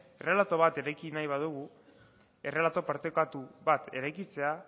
errelato bat ireki nahi badugu errelato partekatu bat eraikitzea